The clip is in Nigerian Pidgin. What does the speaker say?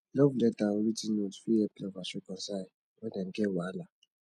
love letter or writ ten note fit help lovers reconcile when dem get wahala